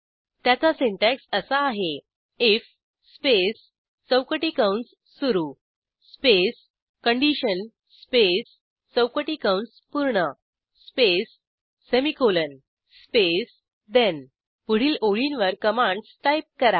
त्याचा सिंटॅक्स असा आहे आयएफ स्पेस चौकटी कंस सुरू स्पेस कंडिशन स्पेस चौकटी कंस पूर्ण स्पेस सेमिकोलॉन स्पेस ठेण पुढील ओळींवर कमांडस टाईप करा